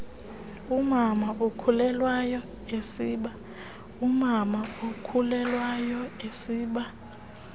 umama okhulelwayo esiba